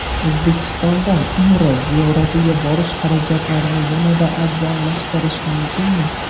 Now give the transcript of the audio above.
O‘zbekistondan Umra ziyoratiga borish xarajatlarini yanada arzonlashtirish mumkinmi?